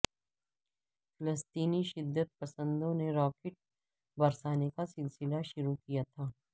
فلسطینی شدت پسندوں نے راکٹ برسانے کا سلسلہ شروع کیا تھا